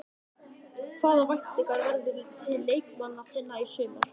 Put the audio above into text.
Hvaða væntingar berðu til leikmanna þinna í sumar?